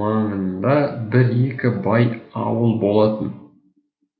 маңында бір екі бай ауыл болатын